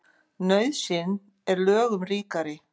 Nauðsyn er lögum ríkari.